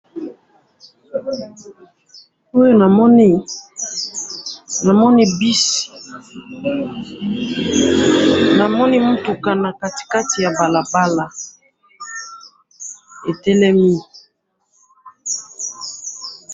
oyo namoni namoni bus namoni mutuka nakatikati yabalaba etelemi